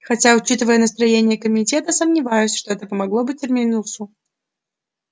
хотя учитывая настроения комитета сомневаюсь что это помогло бы терминусу